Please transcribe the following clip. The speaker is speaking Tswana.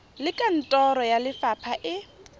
le kantoro ya lefapha e